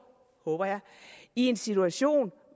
håber jeg i en situation